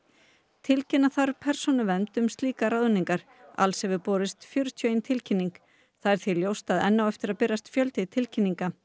tilkynna þarf til Persónuverndar um slíkar ráðningar alls hefur borist fjörutíu og ein tilkynning því er ljóst enn á eftir að berast fjöldi tilkynninga